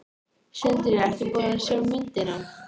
Sindri: Ertu búin að sjá myndina?